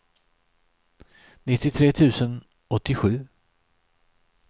nittiotre tusen åttiosju